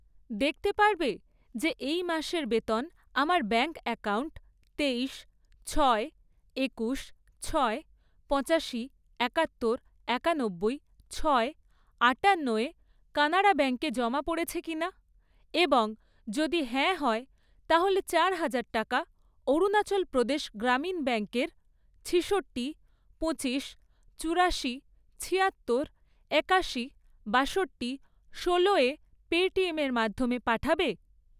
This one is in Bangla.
দেখতে পারবে যে এই মাসের বেতন আমার ব্যাঙ্ক অ্যাকাউন্ট তেইশ, ছয়, একুশ, ছয়, পঁচাশি, একাত্তর, একানব্বই, ছয়, আটান্নোয় কানাড়া ব্যাঙ্কে জমা পড়েছে কিনা এবং যদি হ্যাঁ হয়, তাহলে চারহাজার টাকা অরুণাচল প্রদেশ গ্রামীণ ব্যাঙ্কের ছিষট্টি, পঁচিশ, চুরাশি, ছিয়াত্তর, একাশি, বাষট্টি, ষোলোয় পেটিএমের মাধ্যমে পাঠাবে?